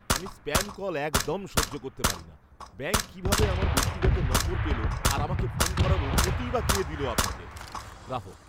আমি spam call একদম সহ্য করতে পারি না। ব্যাঙ্ক কীভাবে আমার ব্যক্তিগত নম্বর পেল আর আমাকে ফোন করার অনুমতিই বা কে দিল আপনাদের? গ্রাহক